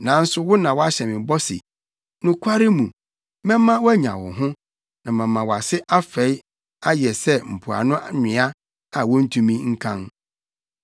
Nanso wo na woahyɛ me bɔ se, ‘Nokware mu, mɛma woanya wo ho, na mama wʼase afɛe ayɛ sɛ mpoano nwea a wontumi nkan.’ ”